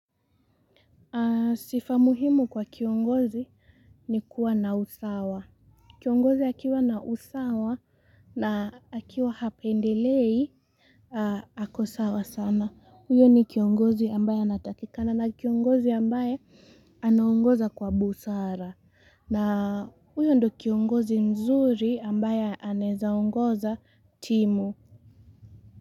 Sifa muhimu kwa kiongozi ni kuwa na usawa. Kiongozi akiwa na usawa na akiwa hapendelei, ako sawa sana. Huyo ni kiongozi ambaye anatakikana na kiongozi ambaye anaongoza kwa busara. Na huyo ndo kiongozi mzuri ambaye anezaongoza timu.